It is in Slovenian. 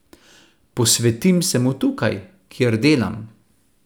Posvetim se mu tukaj, kjer delam.